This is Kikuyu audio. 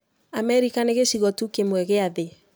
Amerika nĩ gĩcigo tu kĩmwe gĩa thĩ.